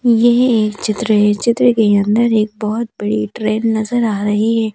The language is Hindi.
ये एक चित्र है चित्र के अंदर एक बहुत बड़ी ट्रेन नजर आ रही है।